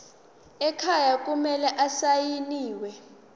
ekhaya kumele asayiniwe